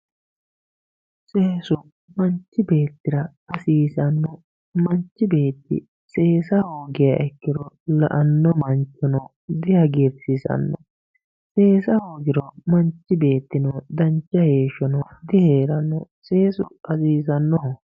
seesu manchi beettira hasiisannoho manchi beetti seesa hoogiha ikkiro la''anno manchono dihagiirsiisanno seesa hoogiro manchi beettino dancha heeshshono diheeranno seesu hasiisannoho.